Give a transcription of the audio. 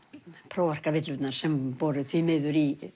prófarkarvillurnar sem voru því miður í